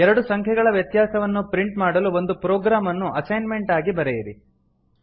ಎರಡು ಸಂಖ್ಯೆಗಳ ವ್ಯತ್ಯಾಸವನ್ನು ಪ್ರಿಂಟ್ ಮಾಡಲು ಒಂದು ಪ್ರೊಗ್ರಾಮ್ ಅನ್ನು ಅಸೈನ್ಮೆಂಟ್ ಆಗಿ ಬರೆಯಿರಿ